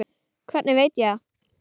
Hvernig veit ég það?